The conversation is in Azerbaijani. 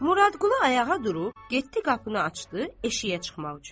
Muradqulu ayağa durub, getdi qapını açdı, eşiyə çıxmaq üçün.